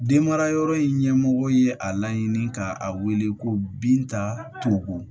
Den marayɔrɔ in ɲɛmɔgɔ ye a laɲini ka a wele ko binta tonko